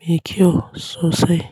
me kyau sosai.